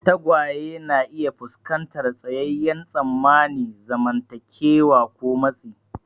Tagwaye na iya fuskantar tsayayyen tsammanin zamantakewa ko matsi.